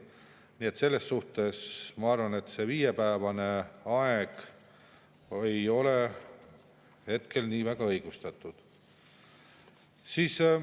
Nii et selles suhtes, ma arvan, see viiepäevane aeg ei ole hetkel nii väga õigustatud.